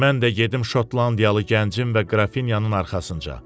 Mən də gedim şotlandiyalı gəncin və Qrafinyanın arxasınca.